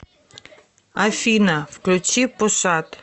афина включи пуша т